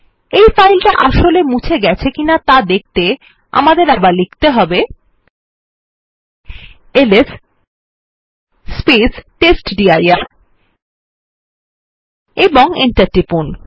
এই ফাইলটা আসলে মুছে ফেলা হয়েছে কি না দেখতে আমাদের আবার প্রেস করতে হবে টেস্টডির এবং এন্টার টিপুন